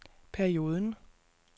perioden